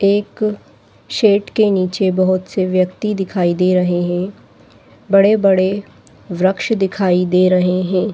एक सेट के नीचे बोहोत से व्यक्ति दिखाई दे रहे हैं। बड़े-बड़े वृक्ष दिखाई दे रहे हैं।